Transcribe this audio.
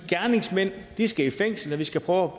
gerningsmænd skal i fængsel og vi skal prøve